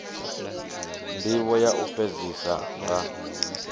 ndivho ya u fhedzisa nga